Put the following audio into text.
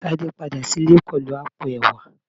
Tadese padà sílè pẹlu àpò ẹ̀wà